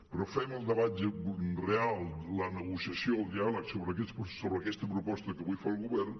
però fem el debat real la negociació el diàleg sobre aquesta proposta que avui fa el govern